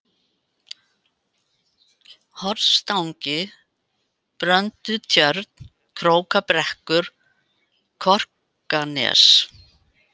Hornstangi, Bröndutjörn, Krókabrekkur, Korkanes